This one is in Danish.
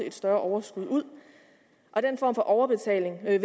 et større overskud ud den form for overbetaling vil